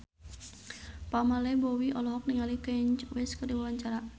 Pamela Bowie olohok ningali Kanye West keur diwawancara